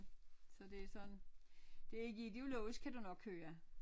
Så det sådan det ikke ideologisk kan du nok høre